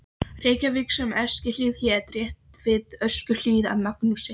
Reykjavík sem Eskihlíð hét, rétt við Öskjuhlíð, af Magnúsi